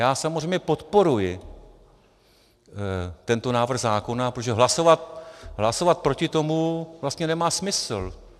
Já samozřejmě podporuji tento návrh zákona, protože hlasovat proti tomu vlastně nemá smysl.